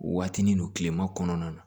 Watinin don kilema kɔnɔna na